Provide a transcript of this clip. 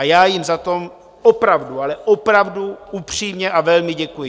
A já jim za to opravdu, ale opravdu upřímně a velmi děkuji.